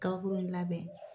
kabakurun in labɛn.